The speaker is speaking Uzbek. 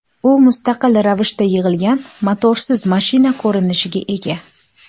U mustaqil ravishda yig‘ilgan motorsiz mashina ko‘rinishiga ega.